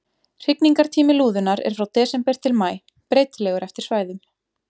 Hrygningartími lúðunnar er frá desember til maí, breytilegur eftir svæðum.